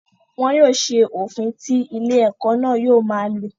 Wọn yóò se òfin tí ilé-ẹ̀kọ́ náà yóò ma lò.